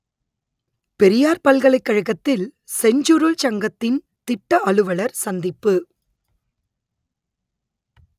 பெரியார் பல்கலைக் கழகத்தில் செஞ்சுருள் சங்கத்தின் திட்ட அலுவலர் சந்திப்பு